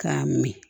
K'a min